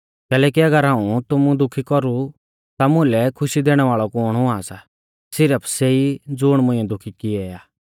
कैलैकि अगर हाऊं तुमु दुखी कौरु ता मुलै खुशी दैणै वाल़ौ कुण हुआ सा सिरफ सेई ज़ुण मुंइऐ दुखी कियौ आ